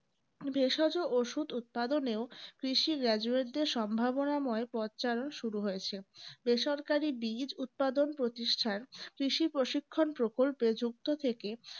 ভেষজ ওষুধ উৎপাদনে ও কৃষি graduate দের সম্ভাবনাময় পথচারন শুরু হয়েছে। বেসরকারি বীজ উৎপাদন প্রতিষ্ঠান কৃষি প্রশিক্ষণ প্রকল্পে যুক্ত থেকে